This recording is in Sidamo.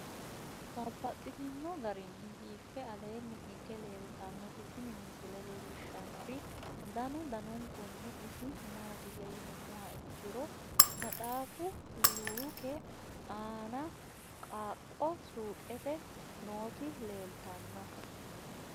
Babaxxittinno garinni biiffe aleenni hige leelittannotti tinni misile lelishshanori danu danunkunni isi maattiya yinummoha ikkiro maxxaffu luuke aanna qaaqo suuqqette nootti leelittanno.